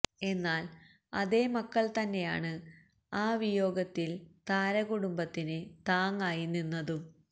എന്നാല് അതേ മക്കള് തന്നെയാണ് ആ വിയോഗത്തില് താരകുടുംബത്തിന് താങ്ങായി നിന്നതും